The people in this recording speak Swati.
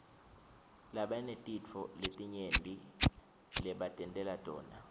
banetintfo letinyenti lebatentela tona